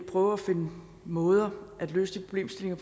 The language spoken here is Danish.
prøver at finde måder at løse de problemstillinger